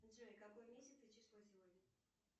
джой какой месяц и число сегодня